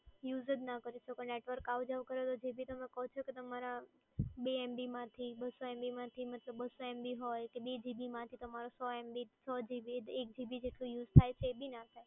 use જ ના કરી શકો. network આવ-જાવ કરે એટલે તમે બે MB માંથી બસ્સો MB માંથી બસ્સો MB હોય એટલે કે બે GB માંથી સો MB એક GB જેટલું use થાય છે એ બી ના થાય.